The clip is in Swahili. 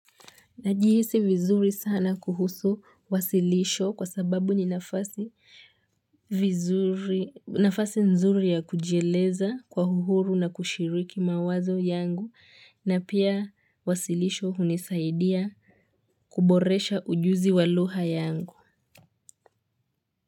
Najihisi vizuri sana kuhusu wasilisho kwa sababu ni nafasi nzuri ya kujieleza kwa uhuru na kushiriki mawazo yangu na pia wasilisho hunisaidia kuboresha ujuzi wa lugha yangu.